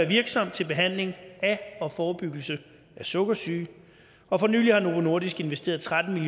virksomt til behandling af og forebyggelse af sukkersyge og for nylig har novo nordisk investeret tretten